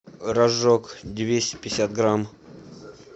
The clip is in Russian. рожок двести пятьдесят грамм